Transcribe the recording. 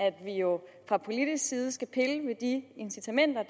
at vi jo fra politisk side skal pille ved de incitamenter